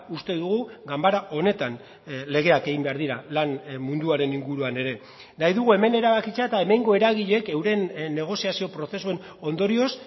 uste dugu ganbara honetan legeak egin behar dira lan munduaren inguruan ere nahi dugu hemen erabakitzea eta hemengo eragileek euren negoziazio prozesuen ondorioz